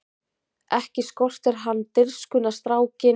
Ekki skortir hann dirfskuna strákinn!